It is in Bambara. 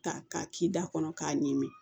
Ta k'a k'i da kɔnɔ k'a ɲimi